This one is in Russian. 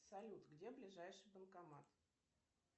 салют где ближайший банкомат